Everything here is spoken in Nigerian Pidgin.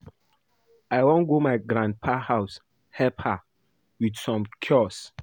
I wan go my grandma house help her with some chores